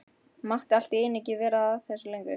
Mátti allt í einu ekki vera að þessu lengur.